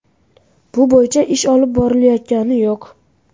Bu bo‘yicha ish olib borilayotgani yo‘q.